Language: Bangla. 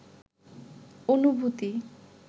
অনুভূতি